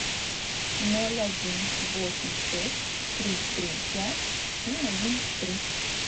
ноль один восемь шесть три три пять семь один три